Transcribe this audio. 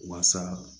Waasa